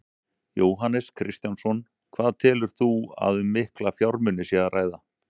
Jóhannes Kristjánsson: Hvað telur þú að um mikla fjármuni sé að ræða?